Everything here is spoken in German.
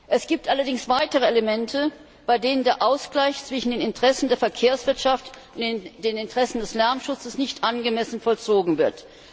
Es gibt allerdings weitere Elemente, bei denen der Ausgleich zwischen den Interessen der Verkehrswirtschaft und den Interessen des Lärmschutzes nicht angemessen vollzogen wird.